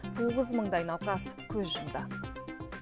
тоғыз мыңдай науқас көз жұмды